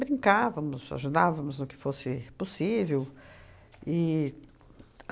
Brincávamos, ajudávamos no que fosse possível. E